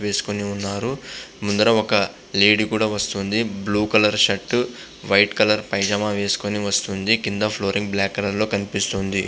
వేసోకొని ఉనారు. ముందర ఒక లేడీ కూడా వస్తునది. Blue colour shirt and white colour pyjama వేసోకొని ఫ్లోర్ పైనా వస్తునాడు.